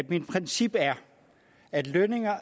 mit princip at lønninger